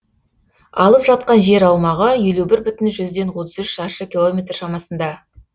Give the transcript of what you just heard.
алып жатқан жер аумағы елу бір бүтін жүзден отыз үш шаршы километр шамасында